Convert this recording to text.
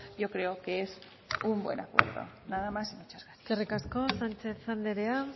yo creo que es un buen acuerdo nada más y muchas gracias eskerrik asko sánchez andrea